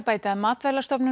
bæta að